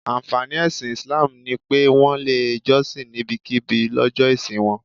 Ànfàní ẹ̀sìn Islam ni pé, Wọ́n lè jọ́sìn níbikíbi lọ́jọ́ ìsìn wọn